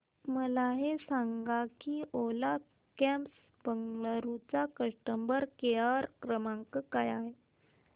मला हे सांग की ओला कॅब्स बंगळुरू चा कस्टमर केअर क्रमांक काय आहे